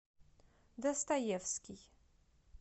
достаевский